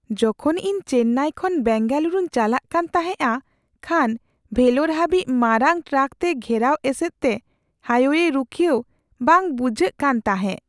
ᱡᱚᱠᱷᱚᱱ ᱤᱧ ᱪᱮᱱᱱᱟᱭ ᱠᱷᱚᱱ ᱵᱮᱝᱜᱟᱞᱩᱨᱩᱧ ᱪᱟᱞᱟᱜ ᱠᱟᱱ ᱛᱟᱦᱮᱸᱜᱼᱟ ᱠᱷᱟᱱ ᱵᱷᱮᱞᱳᱨ ᱦᱟᱹᱵᱤᱡᱽ ᱢᱟᱨᱟᱝ ᱴᱨᱟᱠ ᱛᱮ ᱜᱷᱮᱨᱟᱣ ᱮᱥᱮᱫ ᱛᱮ ᱦᱟᱭᱼᱳᱭᱮ ᱨᱩᱠᱷᱤᱭᱟᱹᱣ ᱵᱟᱝ ᱵᱩᱡᱷᱟᱹᱜ ᱠᱟᱱ ᱛᱟᱦᱮᱸᱜ ᱾